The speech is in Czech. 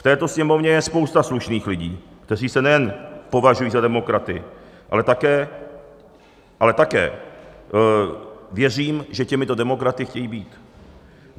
V této Sněmovně je spousta slušných lidí, kteří se nejen považují za demokraty, ale také věřím, že těmito demokraty chtějí být.